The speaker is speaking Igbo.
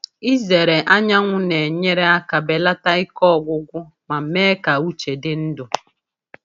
Ịzere anyanwụ na-enyere aka belata ike ọgwụgwụ ma mee ka uche dị ndụ.